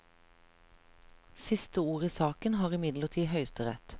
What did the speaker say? Siste ord i saken har imidlertid høyesterett.